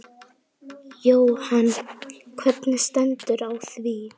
Jóhann: Hvernig stendur á því?